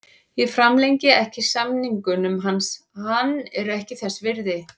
Ég framlengi ekki samningnum hans, hann er ekki þess virði.